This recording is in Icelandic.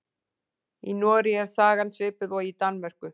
Í Noregi er sagan svipuð og í Danmörku.